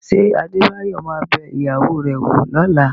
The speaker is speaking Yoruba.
Ṣé Adébáyọ̀ ma bẹ ìyàwó rẹ̀ wò lọ́la?